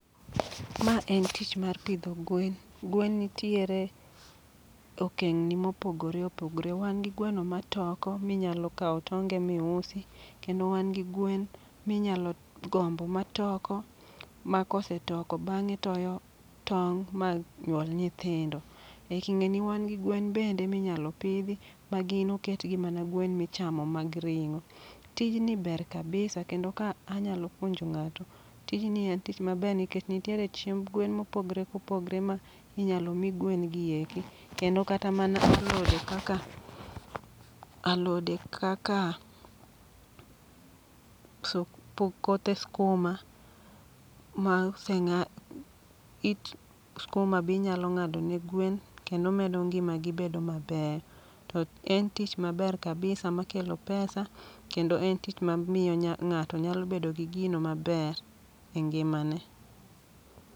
Ma en tich mar pidho gwen , gwen nitiere okeng' ni mopogore opogore. Wan gi gweno ma toko minyalo kawo tonge mi usi, kendo wan gi gwen minyalo gombo ma toko. Ma kose toko, bang'e toyo tong' ma nyuol nyithindo. E king'e ni wan gi gwen bende minyalo pidhi ma gin oketgi mana gwen michamo mag ring'o. Tijni ber kabisa kendo ka anyalo puonjo ng'ato, tijni en tich maber nikech nitiere chiemb gwen mopogre opogre ma inyalo mi gwen gi eki. Kendo mana kata alode kaka, alode kaka k kothe skuma ma oseng'a it skuma binyalo ng'ado ne gwen. Kendo medo ngima gi bedo maber. To en tich maber kabisa ma kelo pesa, kendo en tich ma miyo nya ng'ato nyalo bedo gi gino maber e ngima ne.